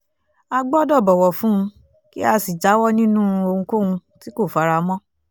a gbọ́dọ̀ bọ̀wọ̀ fún un kí a sì jáwọ́ nínú ohunkóhun tí kò fara mọ́